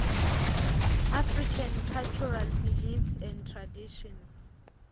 african cultural beliefs and traditions